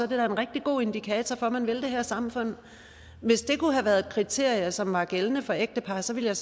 da en rigtig god indikator for at man vil det her samfund hvis det kunne have været et kriterie som var gældende for ægtepar så ville jeg